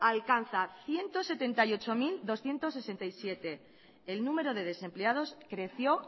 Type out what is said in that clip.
alcanza ciento setenta y ocho mil doscientos sesenta y siete el número de desempleados creció